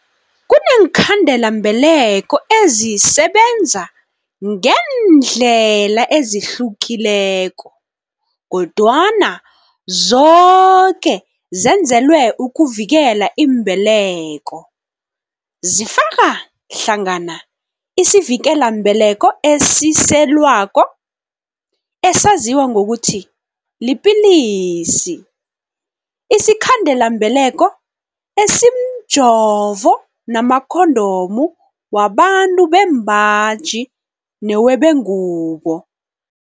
Kuneenkhandelambeleko ezisebenza ngeendlela ezihlukileko, kodwana zoke zenzelwe ukuvikela imbeleko. Zifaka hlangana isivikelambeleko esiselwako, esaziwa ngokuthi 'lipilisi', isikhandelambeleko esimjovo namakhondomu wabantu bembaji newebengubo.